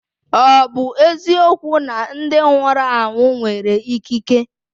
Ọ bụ eziokwu na ndị nwụrụ anwụ nwere ikike?